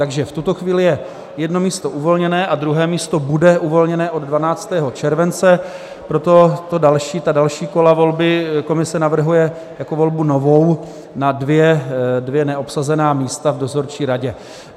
Takže v tuto chvíli je jedno místo uvolněné a druhé místo bude uvolněné od 12. července, proto ta další kola volby komise navrhuje jako novou volbu na dvě neobsazená místa v dozorčí radě.